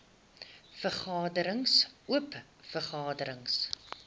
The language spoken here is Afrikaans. vergaderings oop vergaderings